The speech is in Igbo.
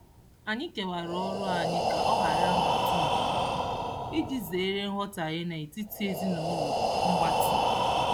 Anyị kewara ọrụ anyị ka ọ hara nhatnha iji zeere nghọtaghie n'etiti ezinụụlọ mgbatị.